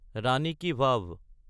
ৰাণী কি ভাৱ